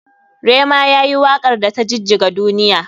Rema yayi wakar da ta jijjiga duniya.